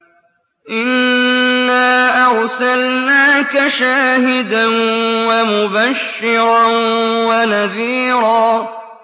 إِنَّا أَرْسَلْنَاكَ شَاهِدًا وَمُبَشِّرًا وَنَذِيرًا